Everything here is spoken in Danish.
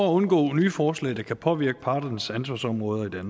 undgå nye forslag der kan påvirke parternes ansvarsområder i